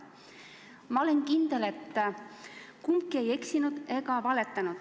Ma olen kindel, et kumbki ei eksinud ega valetanud.